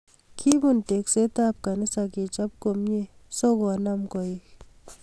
Kibun tekset ab kanisa kechob komnye so konam koek